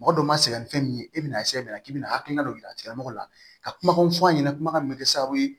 Mɔgɔ dɔw ma sɛgɛn ni fɛn min ye e bɛna k'i bɛna hakilina dɔ yira a tigilamɔgɔ la ka kumakanw fɔ a ɲɛna kuma min bɛ kɛ sababu ye